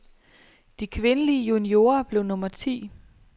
De kvindelige juniorer blev nummer ti.